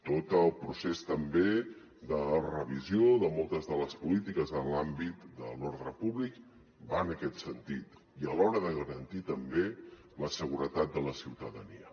tot el procés també de revisió de moltes de les polítiques en l’àmbit de l’ordre públic va en aquest sentit i a l’hora de garantir també la seguretat de la ciutadania